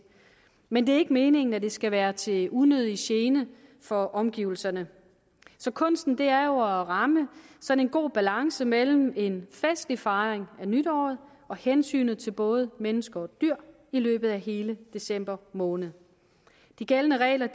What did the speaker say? men det er ikke meningen at det skal være til unødig gene for omgivelserne så kunsten er ramme sådan en god balance mellem en festlig fejring af nytåret og hensynet til både mennesker og dyr i løbet af hele december måned de gældende regler